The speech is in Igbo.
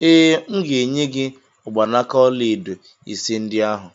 Ee, M ga-enye gị mgbanaka ọlaedo ise ndị ahụ.